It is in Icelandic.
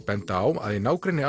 benda á að í nágrenni